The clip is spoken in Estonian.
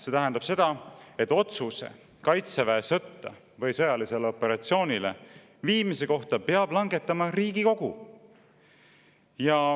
See tähendab seda, et otsuse meie kaitseväe sõtta või sõjalisele operatsioonile viimise kohta peab langetama Riigikogu.